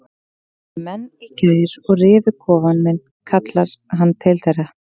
Það komu menn í gær og rifu kofann minn kallar hann til þeirra.